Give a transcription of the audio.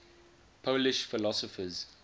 polish philosophers